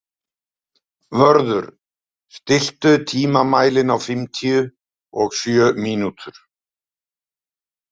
Vörður, stilltu tímamælinn á fimmtíu og sjö mínútur.